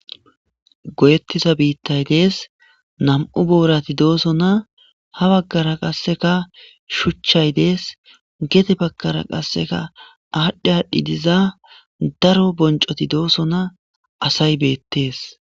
goyettiza biittay dees nam7u boorati dooso na ha baggara qasseka shuchchay dees gete baggara qasseka aadhdhi aadhdhi diza daro boncoti dooso na asay beettees